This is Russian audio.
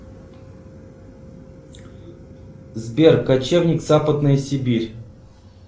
сбер кочевник западная сибирь